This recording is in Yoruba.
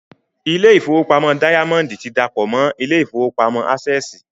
Ilé ìfowópamọ́ dáyámọ́ndì ti dàpọ̀ mọ́ ilé ìfowópamọ́ ásẹ̀sì